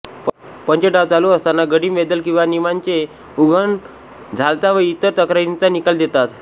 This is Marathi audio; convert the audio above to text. पंच डाव चालू असताना गडी मेद्दल किंवा निमांचे उघन झालचा व इतर तक्रारींचा निकाल देतात